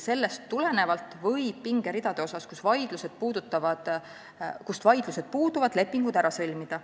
Sellest tulenevalt võib nende pingeridade puhul, kus vaidlused puuduvad, lepingud ära sõlmida.